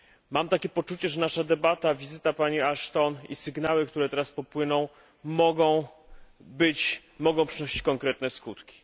Mam takie poczucie, że nasza debata, wizyta pani Ashton i sygnały, które teraz popłyną, mogą przynosić konkretne skutki.